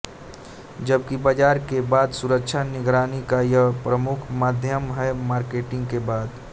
जबकि बाज़ार के बाद सुरक्षा निगरानी का यह प्रमुख माध्यम है मार्केटिंग के बाद